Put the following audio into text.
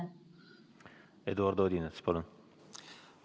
Eduard Odinets, palun!